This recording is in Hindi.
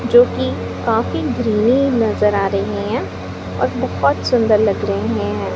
जो की काफी ग्रीनी नजर आ रही हैं और बहोत सुंदर लग रहे हैं।